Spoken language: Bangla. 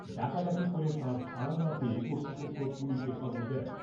ডাকাডাকি করে তাঁর সাড়া না পেয়ে কর্তৃপক্ষ পুলিশে খবর দেন।